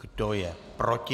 Kdo je proti?